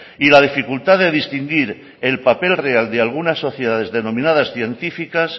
y la dificultad de distinguir el papel real de algunas sociedades denominadas científicas